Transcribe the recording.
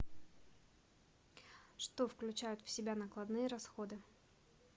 что включают в себя накладные расходы